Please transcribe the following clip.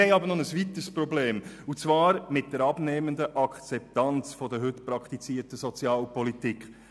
Wir haben aber noch ein weiteres Problem, und zwar ein Problem mit der abnehmenden Akzeptanz der heute praktizierten Sozialpolitik.